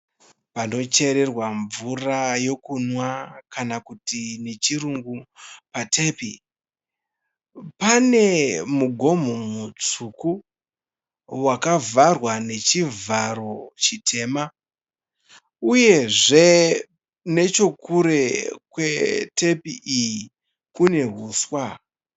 Panochererwa mvura yokumwa kana kuti nechirungu patepi. Pane mugomo mutsvuku wakavharwa nechivharo chitema uyezve nechekure kwetepi iyi kune huswa.